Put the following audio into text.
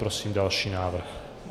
Prosím další návrh.